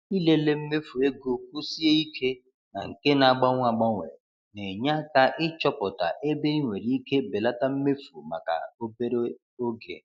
Ịlele mmefu ego kwụsie ike na nke na-agbanwe agbanwe na-enye aka ịchọpụta ebe ị nwere ike belata mmefu maka obere oge.